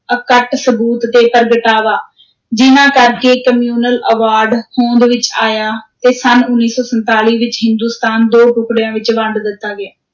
ਅਕੱਟ ਸਬੂਤ ਤੇ ਪ੍ਰਗਟਾਵਾ ਜਿਨ੍ਹਾਂ ਕਰਕੇ communal award ਹੋਂਦ ਵਿਚ ਆਇਆ ਤੇ ਸੰਨ ਉੱਨੀ ਸੌ ਸੰਤਾਲੀ ਵਿਚ ਹਿੰਦੁਸਤਾਨ ਦੋ ਟੁਕੜਿਆਂ ਵਿਚ ਵੰਡ ਦਿੱਤਾ ਗਿਆ।